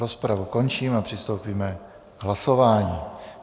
Rozpravu končím a přistoupíme k hlasování.